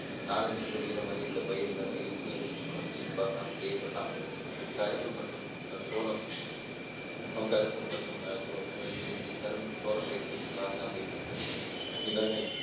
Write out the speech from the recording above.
நாலு metre உயரம் வரை உள்ள பயிர் வகைகள் மூலம் நீர் பாசனம் செய்யப்படலாம் கரும்பு மற்றும் சோளம் கரும்பு மற்றும் சோளப் பயிர்களுக்கு